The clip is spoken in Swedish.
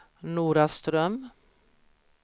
Noraström